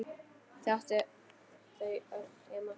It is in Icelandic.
Hún átti þau öll heima.